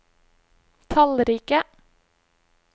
tallrike